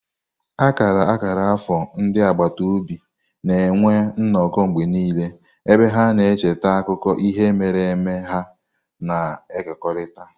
Akara akara afọ ndị agbata obi na-enwe nnọkọ mgbe niile, ebe ha na-echeta akụkọ ihe mere eme ha na-ekekọrịta.